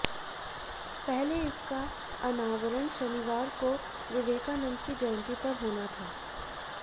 पहले इसका अनावरण शनिवार को विवेकानंद की जयंती पर होना था